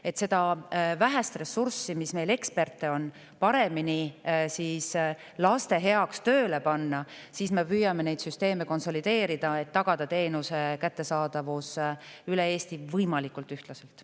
Et seda vähest ekspertide ressurssi, mis meil on, paremini laste heaks tööle panna, me püüame neid süsteeme konsolideerida, et tagada teenuse kättesaadavus üle Eesti võimalikult ühtlaselt.